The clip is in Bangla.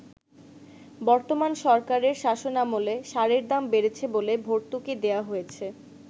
“বর্তমান সরকারের শাসনামলে সারের দাম বেড়েছে বলে ভর্তুকি দেয়া হয়েছে।